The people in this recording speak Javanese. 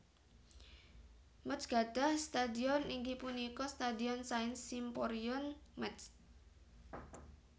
Métz gadhah stadhion inggih punika Stadhion Saint Symphorien Métz